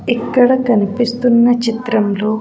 ఇక్కడ కనిపిస్తున్న చిత్రంలో.